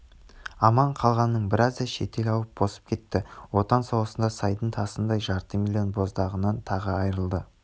аман қалғанының біразы шетел ауып босып кетті отан соғысында сайдың тасындай жарты миллион боздағынан тағы айрылды